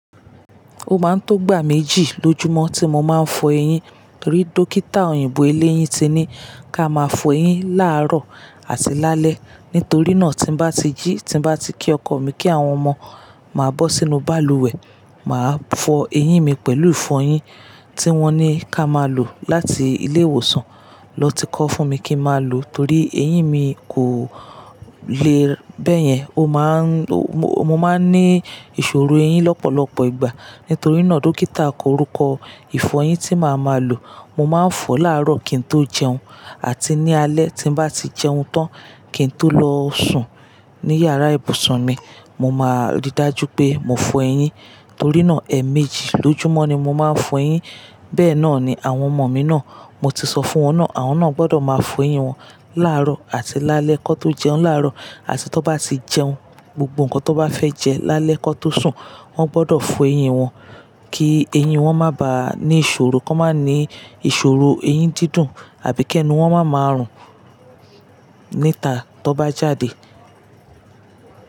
O máa ń tó gbà méjì lójúmọ́ tí mo máa ń fọ eyín. Rí dókítà òyìnbó ilé eyín ti ní ká máa fọ eyín láàárọ̀ àti lálẹ́. Nítorí náà tí bá ti jí, tí bá ti kí ọkọ mi kí àwọn ọmọ, màá bọ́ sínú balùwẹ̀, màá fọ eyín mi pẹ̀lú ìfọyín tí wọ́n ní ká máa lò láti ilé ìwòsàn lọ ti kọ́ fún mi kí máa lò torí eyín mi kò le bẹ́yẹn. O máa ń-- mo, mo máa ń ní ìṣòro eyín lọ́pọ̀lọpọ̀ ìgbà. Nítorí náà, dókítà korúkọ ìfọyín tí màá máa lò. Mo máa ń fọ láàárọ̀ kí n tó jẹun àti ní alẹ́ tí bá ti jẹun tán kí n tó lọ sùn ní yàrá ìbùsùn mi. Mo máa rí dájú pé mo fọ eyín torí náà ẹ̀ méjì lójúmọ́ ni mo máa ń fọ eyín. Bẹ́ẹ̀ náà ni àwọn ọmọ mi náà, mo ti sọ fún wọn náà. Àwọn náà gbọdọ̀ máa fọ eyín wọn láàárọ̀ àti lálẹ́. Kó tó jẹun láàárọ̀ àti tó bá ti jẹun, gbogbo nǹkan tó bá fẹ́ jẹ lálẹ́ kó tó sùn, wọ́n gbọdọ̀ fọ eyín wọn kí eyín wọn má bá ní ìṣòro, kó má ní ìṣòro eyín dídùn àbí kí ẹnu wọn má máa rùn níta tí ó bá jáde.